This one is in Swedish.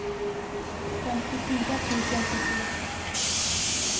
femtiofyra tusen sjuttioett